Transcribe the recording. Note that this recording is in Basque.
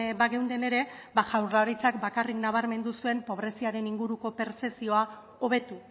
bageunden ere ba jaurlaritzak bakarrik nabarmendu zuen pobreziaren inguruko pertzepzioa hobetu